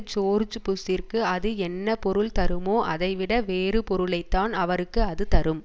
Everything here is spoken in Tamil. ஜோர்ஜ் புஷ்ஷிற்கு அது என்ன பொருள் தருமோ அதைவிட வேறுபொருளைத்தான் அவருக்கு அது தரும்